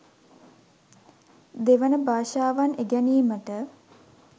දෙවන භාෂාවන් ඉගෙනීමට